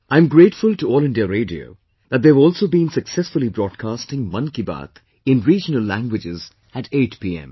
I am grateful to All India Radio that they have also been successfully broadcasting 'Mann Ki Baat' in regional languages at 8 pm